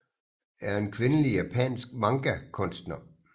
er en kvindelig japansk manga kunstner